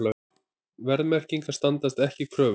Verðmerkingar standast ekki kröfur